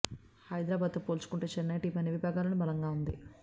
హైదరాబాద్తో పోల్చుకుంటే చెన్నై టీమ్ అన్ని విభాగాల్లోనూ బలంగా ఉంది